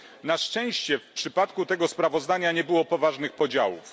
Na szczęście w przypadku tego sprawozdania nie było poważnych podziałów.